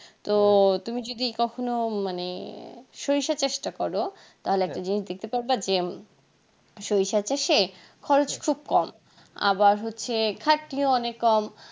তো তুমি যদি কখনো মানে সরিষা চাষটা করো তাহলে একটা জিনিস দেখতে পারব যে সরিষা চাষে খরচ খুব কম আবার হচ্ছে খাটনিও অনিক কম